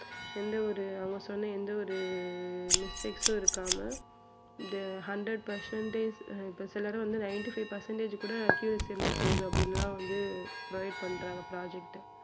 எந்த ஒரு அவன் சொன்ன எந்த ஒரு mistakes உம் இருக்காம the hundred percentage இப்போ சிலர் வந்து ninty five percentage கூட accuracy இருந்தா போதும் அப்படி எல்லாம் வந்து provide பண்றாங்க project அ